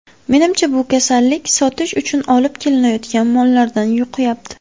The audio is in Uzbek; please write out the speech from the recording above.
Menimcha, bu kasallik sotish uchun olib kelinayotgan mollardan yuqyapti.